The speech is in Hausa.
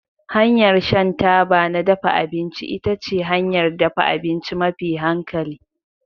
Hanyar shan taba na dafa abinci ita ce hanyar dafa abinci mafi hankali